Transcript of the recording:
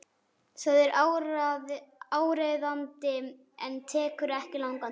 Það er áríðandi en tekur ekki langan tíma.